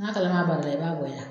N'a kalama b'a dɔ e b'a bɔya